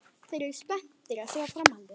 Þeir eru spenntir að sjá framhaldið.